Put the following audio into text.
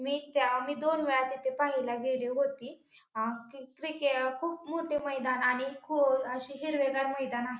मी त्या आम्ही दोन वेळा तिथे पाहायला गेली होती अ क्रि खूप मोठे मैदान आणि खो अशे हिरवेगार मैदान आहे.